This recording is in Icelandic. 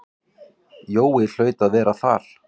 Jói hlaut að vera þar.